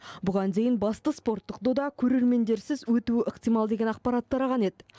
бұған дейін басты спорттық дода көрермендерсіз өтуі ықтимал деген ақпарат тараған ед